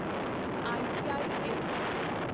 I T I LTD